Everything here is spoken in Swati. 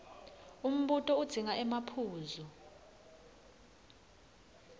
umbuto udzinga emaphuzu